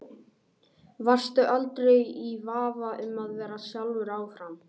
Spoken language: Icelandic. Varstu aldrei í vafa um að vera sjálfur áfram?